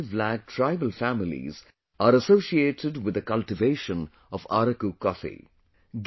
5 lakh tribal families are associated with the cultivation of Araku coffee